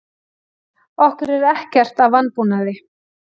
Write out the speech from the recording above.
Okkur er ekkert að vanbúnaði.